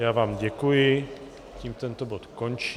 Já vám děkuji, tím tento bod končí.